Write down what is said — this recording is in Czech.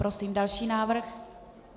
Prosím další návrh.